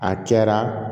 A cɛra